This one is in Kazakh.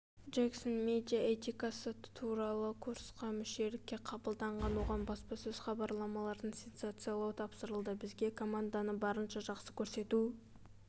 джексон медиа этикасы туралы курсқа мүшелікке қабылданған оған баспасөз-хабарламаларын сенсациялау тапсырылды бізге команданы барынша жақсы көрсету